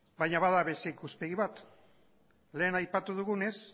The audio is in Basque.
baina bada beste ikuspegi bat lehen aipatu dugunez